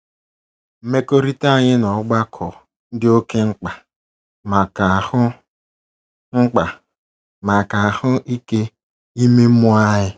Mmekọrịta anyị na ọgbakọ dị oké mkpa maka ahụ́ mkpa maka ahụ́ ike ime mmụọ anyị.